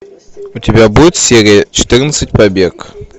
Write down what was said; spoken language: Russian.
у тебя будет серия четырнадцать побег